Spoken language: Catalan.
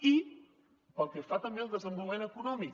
i pel que fa també al desenvolupament econòmic